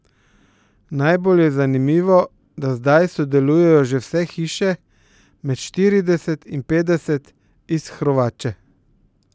Najbolj je zanimivo, da zdaj sodelujejo že vse hiše, med štirideset in petdeset, iz Hrovače.